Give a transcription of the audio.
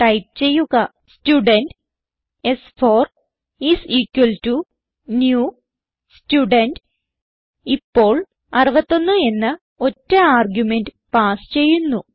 type ചെയ്യുക student സ്4 is equal to new student ഇപ്പോൾ 61 എന്ന ഒറ്റ ആർഗുമെന്റ് പാസ് ചെയ്യുന്നു